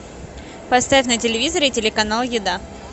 поставь на телевизоре телеканал еда